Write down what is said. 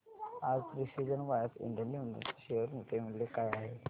आज precision wires India limited च्या share चे मूल्य काय आहे